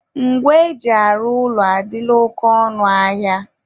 ngwa e ji arụ ụlọ adịla oke ọnụ ahịa.